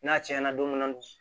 N'a cɛn na don min na